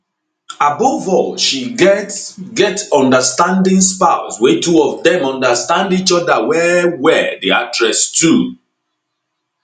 above all she get get understanding spouse wey two of dem understand each oda wellwell di actress too